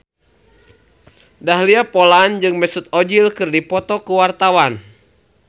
Dahlia Poland jeung Mesut Ozil keur dipoto ku wartawan